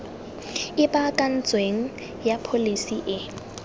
e baakantsweng ya pholesi e